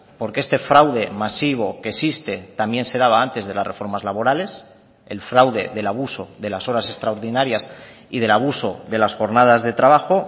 porque este fraude masivo que existe también se daba antes de las reformas laborales el fraude del abuso de las horas extraordinarias y del abuso de las jornadas de trabajo